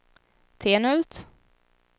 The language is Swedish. Tenhult